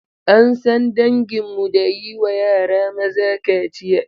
An san danginmu da yi wa yara maza kaciya.